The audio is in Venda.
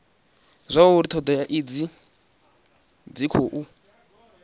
zwauri thodea idzi dzi khou